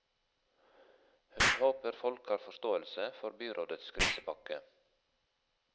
Hun håper folk har forståelse for byrådets krisepakke.